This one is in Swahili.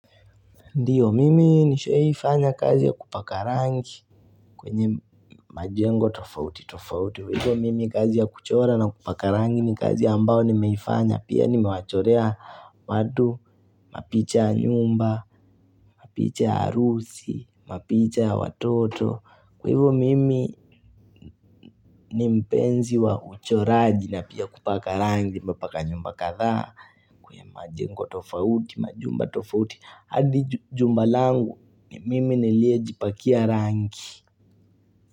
Ndiyo, mimi nishaifanya kazi ya kupaka rangi kwenye majengo tofauti, tofauti. Kwa hivo mimi kazi ya kuchora na kupaka rangi ni kazi ambao nimeifanya. Pia nimewachorea watu, mapicha ya nyumba, mapicha ya harusi, mapicha ya watoto. Kwa hivo mimi nimpenzi wa uchoraji na pia kupaka rangi, mpaka nyumba kadhaa. Kwenye majengo tofauti, majumba tofauti. Adi jumba langu ni mimi nilie jipakia rangi.